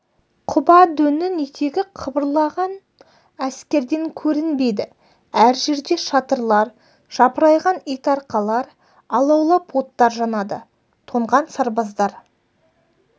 құба дөңнің етегі қыбырлаған әскерден көрінбейді әр жерде шатырлар жапырайған итарқалар алаулап оттар жанады тоңған сарбаздар